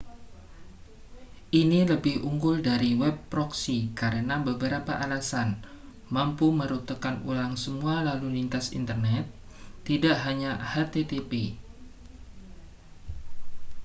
ini lebih unggul dari web proxy karena beberapa alasan mampu merutekan ulang semua lalu lintas internet tidak hanya http